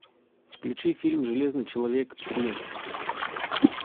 включи фильм железный человек три